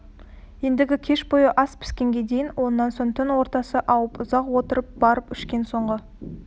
ендігі кеш бойы ас піскенге дейін онан соң түн ортасы ауып ұзақ отырып барып ішкен соңғы